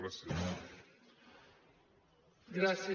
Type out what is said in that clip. gràcies